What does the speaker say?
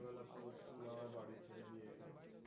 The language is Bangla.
বিকেল বেলায় পুরো school আমাই বাড়ি ছেরে দিয়ে গেল।